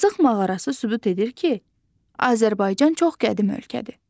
Azıq mağarası sübut edir ki, Azərbaycan çox qədim ölkədir.